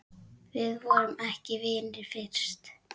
Við vorum ekki vinir fyrst.